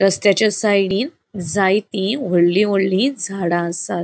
रस्त्याच्या साइडीन जाय्ति वोडली वोडली झाडा आसात.